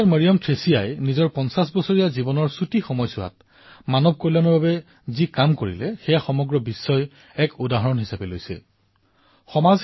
sister Mariam থ্ৰেছিয়াই নিজৰ ৫০ বছৰীয়া ক্ষুদ্ৰ জীৱনকালতেই মানৱতাৰ কল্যাণৰ বাবে যি কাম কৰিছে সেয়া সমগ্ৰ বিশ্বৰ বাবে আদৰ্শলৈ পৰিণত হৈছে